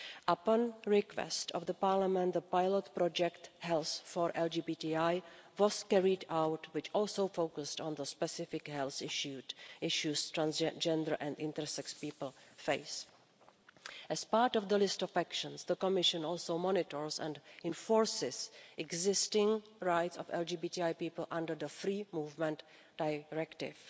Upon the request of Parliament, the pilot project Health4LGBTI was carried out, which also focused on the specific health issues transgender and intersex people face. As part of the list of actions, the Commission also monitors and enforces existing rights of LGBTI people under the Free Movement Directive.